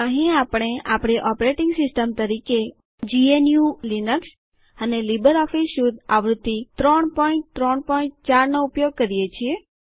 અહીં આપણે આપણી ઓપરેટિંગ સિસ્ટમ તરીકે જીએનયુ લીનક્સ અને લીબરઓફીસ સ્યુટ આવૃત્તિ ૩૩૪ નો ઉપયોગ કરીએ છીએ